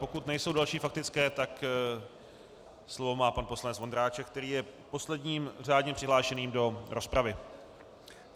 Pokud nejsou další faktické, tak slovo má pan poslanec Vondráček, který je posledním řádně přihlášeným do rozpravy.